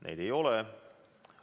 Neid ei ole.